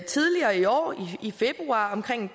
tidligere i år i februar omkring